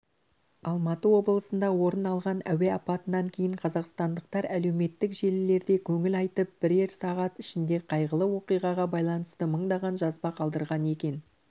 алматы облысында орын алған әуе апатынан кейін қазақстандықтар әлеуметтік желілерде көңіл айтып бірерсағат ішінде қайғылы оқиғаға байланысты мыңдаған жазба қалдырған екен